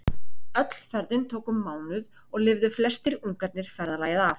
Öll ferðin tók um mánuð og lifðu flestir ungarnir ferðalagið af.